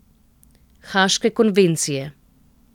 Haške konvencije.